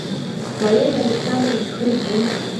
валерий александрович хрипун